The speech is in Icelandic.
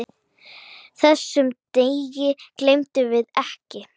Þessum degi gleymum við ekki.